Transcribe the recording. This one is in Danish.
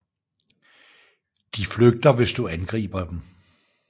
De flygter hvis du angriber dem